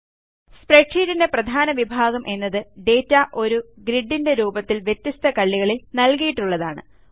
സ്പ്രെഡ്ഷീറ്റിൻറെ പ്രധാന വിഭാഗം എന്നത് ഡാറ്റ ഒരു ഗ്രിഡിൻറെ രൂപത്തിൽ വ്യത്യസ്ത കള്ളികളിൽ നൽകിയിട്ടുള്ളതാണ്